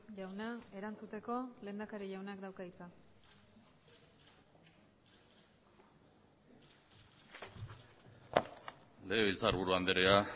jauna erantzuteko lehendakari jaunak dauka hitza legebiltzarburu andrea